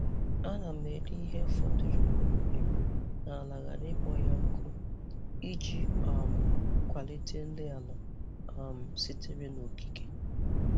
A na m eli ihe fọdụrụ n’ihe ubi m n’ala ghara ịkpọ ya ọkụ, iji um kwalite nri ala um sitere n’okike.